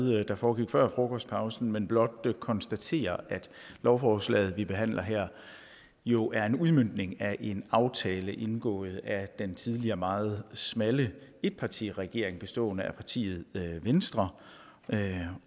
der foregik før frokostpausen men blot konstatere at lovforslaget vi behandler her jo er en udmøntning af en aftale indgået af den tidligere meget smalle etpartiregering bestående af partiet venstre